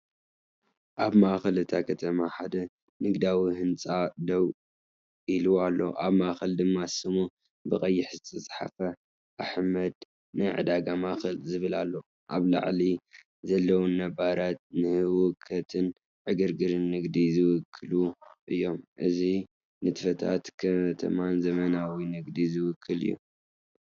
ኣብ ማእከል እታ ከተማ ሓደ ንግዳዊ ህንጻ ደው ኢሉ ኣሎ፣ ኣብ ማእከል ድማ ስሙ ብቐይሕ ዝተፀሓፈ"ኣሕመድ ናይ ዕዳጋ ማእከል"ዝብል ኣሎ። ኣብ ላዕሊ ዘለዉ ባነራት ንህውከትን ዕግርግርን ንግዲ ዝውክሉ እዮም። እዚ ንንጥፈታት ከተማን ዘመናዊ ንግድን ዝውክል እዩ።”